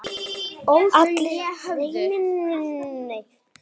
Stúlkan mæta mín.